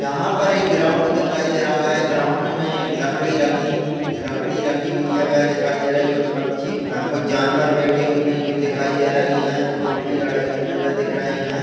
यहा पर एक ग्राउंड दिखाई दे रहा है ग्राउंड में लकड़ी रखी हुई लकड़ी रखी हुई है वे दिखाई दे रही है कुछ पक्षी कुछ जानवर बैठे हुए है जो दिखाई दे रहे है दो खंबे गड़े हुए है वे दिख रहे है।